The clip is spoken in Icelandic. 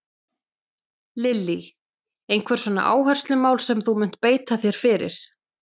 Lillý: Einhver svona áherslumál sem að þú munt beita þér fyrir?